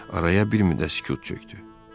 Araya bir müddət sükut çökdü.